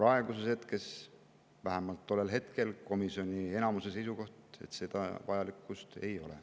Aga vähemalt tollel hetkel oli komisjoni enamuse seisukoht, et seda vajadust ei ole.